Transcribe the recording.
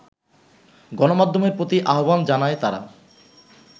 গণমাধ্যমের প্রতি আহ্বান জানায় তারা